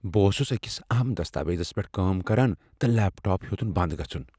بہٕ اوسُس أکس اہم دستاویزس پیٹھ کٲم کران اوسس تہٕ لیپ ٹاپ ہیوٚتُن بند گژھُن۔